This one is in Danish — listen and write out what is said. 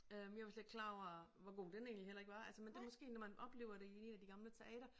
Øh jeg var slet ikke klar over hvor god den egentlig heller ikke var altså men det måske når man oplever det i 1 af de gamle teatre